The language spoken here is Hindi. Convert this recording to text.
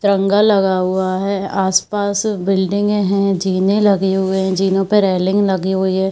तरंगा लगा हुआ है आसपास बिल्डिंग है जीने लगे हुए है जिनो पे रेलिंग लगी हुई है।